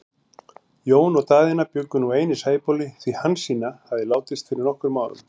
Jón og Daðína bjuggu nú ein í Sæbóli, því Hansína hafði látist fyrir nokkrum árum.